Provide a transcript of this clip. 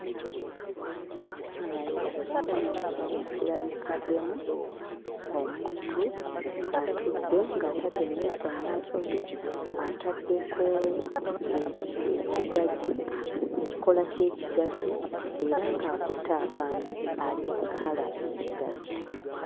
Ekifaananyi ekifaananyi kino kirabikiddemu omuntu atudde ng'atadde emmeeso mmaaso ge ataddeko ekigaji, ekikoola ky'ekigaji era ng'akutte akambe ali mu kusala ekigaji.